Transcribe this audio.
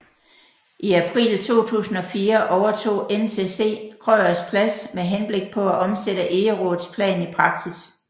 I april 2004 overtog NCC Krøyers Plads med henblik på at omsætte Egeraats plan i praksis